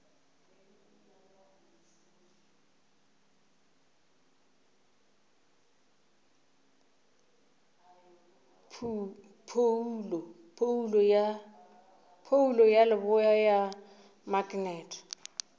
phoulo ya leboa ya maknete